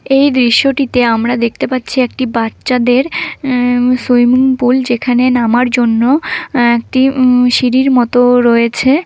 এই দৃশ্যটিতে আমরা দেখতে পাচ্ছি একটি বাচ্চাদের অ্যাঁ সুইমিং পুল যেখানে নামার জন্য অ্যাঁ একটি উম সিঁড়ির মতো রয়েছে।